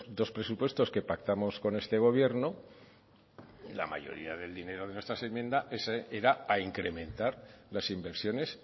dos presupuestos que pactamos con este gobierno la mayoría del dinero de nuestras enmiendas era a incrementar las inversiones